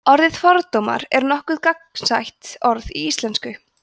orðið fordómar er nokkuð gagnsætt orð í íslensku